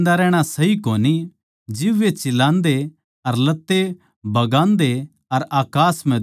जिब वे चिल्लान्दे अर लत्ते बगान्दे अर अकास म्ह धूळ उड़ावै थे